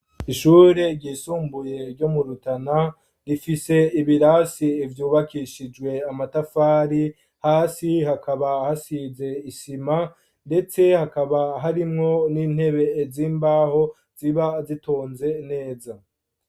Ishure ryisumbuye, ryo mu Rutana, rifise ibirasi vyubakishijwe amatafari; hasi hakaba, hasize isima, ndetse, hakaba harimwo, n'intebe z'imbaho, ziba zitonze neza.